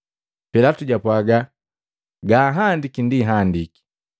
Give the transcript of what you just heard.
Pilatu japwaaga, “Ganhandiki, ndi handiki!”